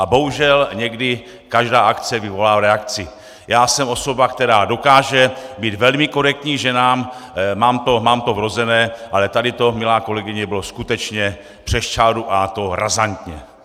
A bohužel někdy každá akce vyvolá reakci, Já jsem osoba, která dokáže být velmi korektní k ženám, mám to vrozené, ale tady to, milá kolegyně, bylo skutečně přes čáru, a to razantně!